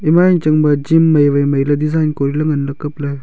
ema yang chang ba chin mai wai mai ley design kori ley ngan ley kap ley.